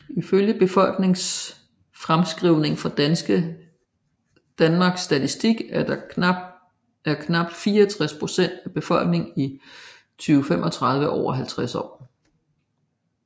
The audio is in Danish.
Ifølge befolkningsfremskrivninger fra Danmarks Statistik er knap 64 procent af befolkningen i 2035 over 50 år